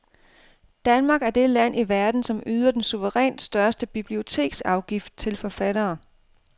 Danmark er det land i verden, som yder den suverænt største biblioteksafgift til forfattere.